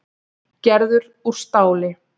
Gerður úr stáli.